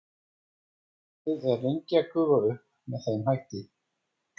vatnið er lengi að gufa upp með þeim hætti